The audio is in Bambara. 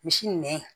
Misi nɛn